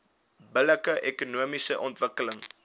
billike ekonomiese ontwikkeling